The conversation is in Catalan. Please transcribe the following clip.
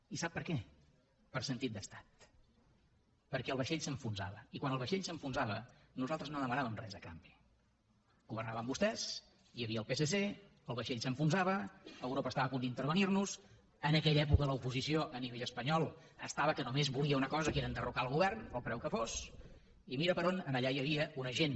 i sap per què per sentit d’estat perquè el vaixell s’enfonsava i quan el vaixell s’enfonsava nosaltres no demanàvem res a canvi governaven vostès hi havia el psc el vaixell s’enfonsava europa estava a punt d’intervenir nos en aquella època l’oposició a nivell espanyol estava que només volia una cosa que era enderrocar el govern al preu que fos i mira per on allà hi havia una gent